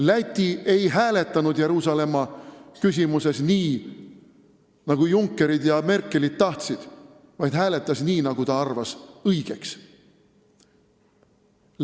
Läti ei hääletanud Jeruusalemma küsimuses nii, nagu Junckerid ja Merkelid tahtsid, vaid hääletas nii, nagu ta ise õigeks pidas.